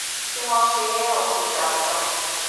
ti wọn ṣe e han si gbangba